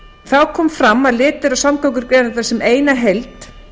þá kom fram að litið er á samgöngugreinarnar sem eina heild